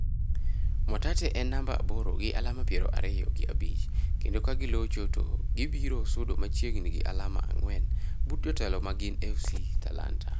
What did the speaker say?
Mwatate en namba aboro gi alama piero ariyo gi abich kendo ka gilocho to gibiro sudo machiegni gi alama ang'wen but jotelo ma gin FC Talanta.